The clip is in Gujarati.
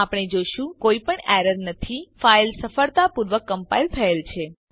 આપણે જોશું કોઈ પણ એરર નથી ફાઇલ સફળતાપૂર્વક કમ્પાઈલ થયેલ છે